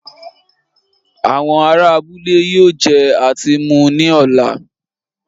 Àwọn ará abúlé yóò jẹ àti mu ní ọ̀la